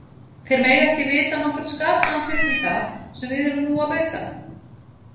Þeir mega ekki vita nokkurn skapaðan hlut um það, sem við erum nú að bauka.